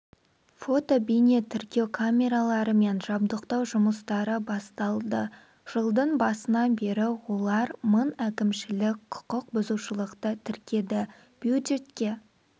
фото-бейнетіркеу камераларымен жабдықтау жұмыстары басталды жылдың басынан бері олар мың әкімшілік құқық бұзушылықты тіркеді бюджетке